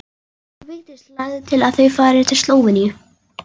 Vigdís lagði til að þau færu til Slóveníu.